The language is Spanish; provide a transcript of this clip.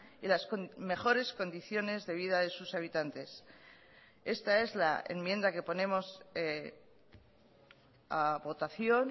y las mejores condiciones de vida de sus habitantes esta es la enmienda que ponemos a votación